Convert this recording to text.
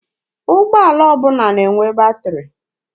Ụgbọala ọbụla na-enwe batịrị.